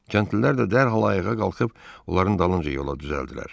Kəndlilər də dərhal ayağa qalxıb onların dalınca yola düzəldilər.